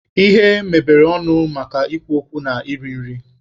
Ihe mebere ọnụ maka ikwu okwu na iri nri